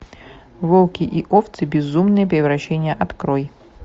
волки и овцы безумное превращение открой